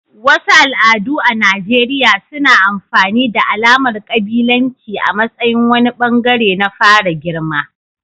Wasu al'adu a Najeriya suna amfani da alamar kabilanci a matsayin wani bangare na fara girma.